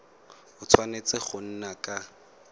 a tshwanetse go nna ka